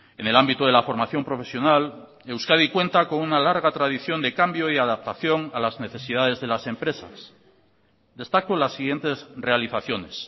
en el ámbito de la formación profesional euskadi cuenta con una larga tradición de cambio y adaptación a las necesidades de las empresas destaco las siguientes realizaciones